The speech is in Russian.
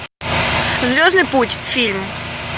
звездный путь фильм